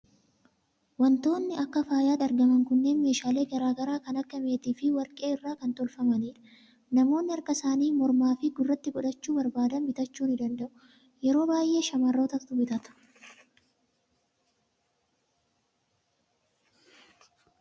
Waantonni akka faayaatti argaman kunneen meeshaalee garaa garaa kan akka meetii fi warqii irraa kan tolfamanidha. Namoonni harka isaanii, mormaa fi gurratti godhachuu barbaadan bitachuu ni danda'u. Yeroo baay'ee shamarrootatu bitata.